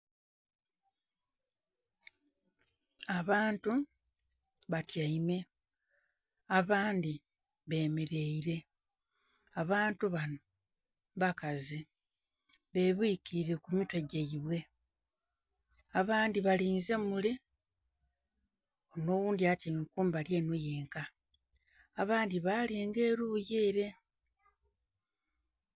Abantu batyaime, abandhi bemeleire. Abantu bano bakazi, bebwikilire ku mitwe gyaibwe. Abandhi balinze mule, onho oghundi atyaime kumbali enho yenka. Abandhi balinga eruyi ere.